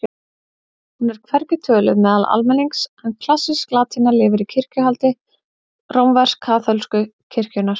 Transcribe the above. Hún er hvergi töluð meðal almennings en klassísk latína lifir í kirkjuhaldi rómversk-kaþólsku kirkjunnar.